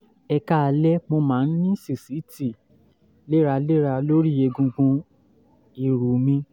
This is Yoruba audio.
ẹ káalẹ́ mo máa ń ní sísìtì léraléra lórí egungun ìrù mi